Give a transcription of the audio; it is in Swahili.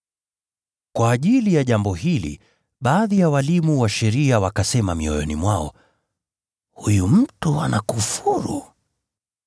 Kwa ajili ya jambo hili, baadhi ya walimu wa sheria wakasema mioyoni mwao, “Huyu mtu anakufuru!”